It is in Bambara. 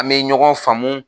A be ɲɔgɔn faamu